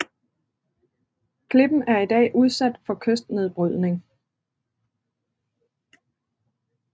Klippen er i dag udsat for kystnedbrydning